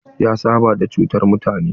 Ya saba da cutar mutane.